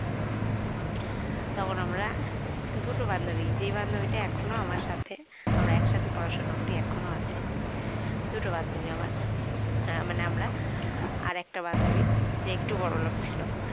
তখন আমরা দুটো বান্ধবী যে বান্ধবীটা এখনো আমার সাথে আমরা একসাথে পড়াশোনা করি এখনো আছে দুটো বান্ধবী আমার হ্যাঁ মানে আমরা আর একটা বান্ধবী যে একটু বড়লোক ছিল